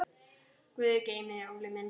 Guð geymi þig, Óli minn.